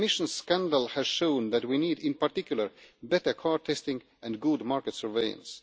The emissions scandal has shown that we need in particular better car testing and good market surveillance.